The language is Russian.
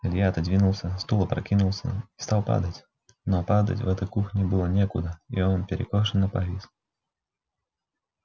илья отодвинулся стул опрокинулся и стал падать но падать в этой кухне было некуда и он перекошенно повис